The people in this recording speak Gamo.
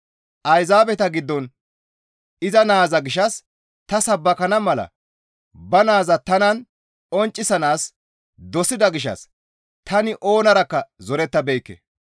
Ayzaabeta giddon iza naaza gishshas ta sabbakana mala ba naaza tanan qonccisanaas dosida gishshas tani oonarakka zorettabeekke.